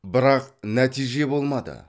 бірақ нәтиже болмады